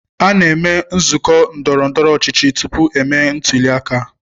a na-eme nzụkọ ndọrọ ndọrọ ọchịchị tupu emee ntuli aka.